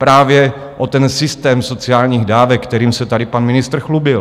Právě o ten systém sociálních dávek, kterým se tady pan ministr chlubil.